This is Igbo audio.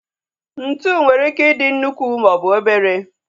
Ntụ nwere ike ị dị nnukwu maọbụ obere